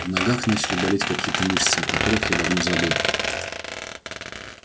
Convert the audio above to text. в ногах начали болеть какие-то мышцы о которых я давно забыл